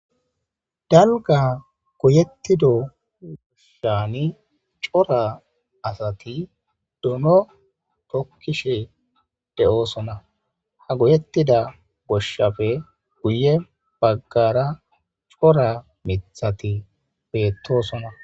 Dalgga goyettido shaani cora asati dono tokkishe de7oosona. Ha goyettida goshshafe guye baggaara cora mithati beettosona.